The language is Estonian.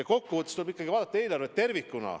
Ja kokkuvõttes tuleb ikkagi vaadata eelarvet tervikuna.